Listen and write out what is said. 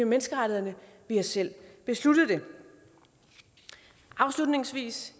menneskerettighederne vi har selv besluttet det afslutningsvis